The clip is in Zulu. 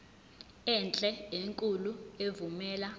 enhle enkulu evumela